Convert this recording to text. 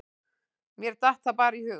Mér datt það bara í hug.